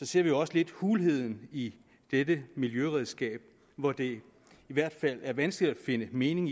ser vi også lidt hulheden i dette miljøredskab hvor det i hvert fald er vanskeligt at finde mening